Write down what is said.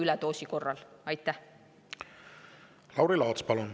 Lauri Laats, palun!